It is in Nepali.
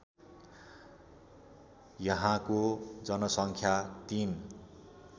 यहाँको जनसङ्ख्या ३